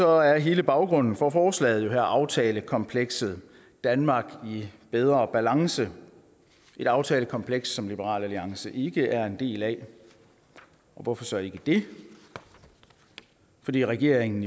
er hele baggrunden for forslaget her jo aftalekomplekset danmark i bedre balance et aftalekompleks som liberal alliance ikke er en del af og hvorfor så ikke det fordi regeringen